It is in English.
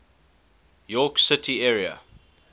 york city area